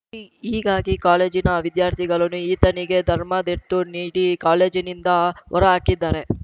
ಹಿ ಹೀಗಾಗಿ ಕಾಲೇಜಿನ ವಿದ್ಯಾರ್ಥಿಗಳನು ಈತನಿಗೆ ಧರ್ಮದ್ದೆಟು ನೀಡಿ ಕಾಲೇಜಿನಿಂದ ಹೊರಹಾಕಿದ್ದಾರೆ